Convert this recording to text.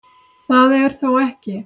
Það er þó ekki